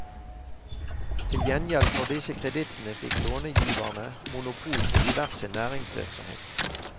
Til gjengjeld for disse kredittene fikk lånegiverne monopol på diverse næringsvirksomhet.